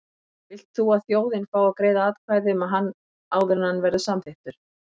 Vilt þú að þjóðin fái að greiða atkvæði um hann áður en hann verður samþykktur?